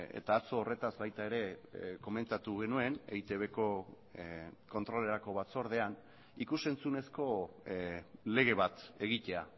eta atzo horretaz baita ere komentatu genuen eitbko kontrolerako batzordean ikus entzunezko lege bat egitea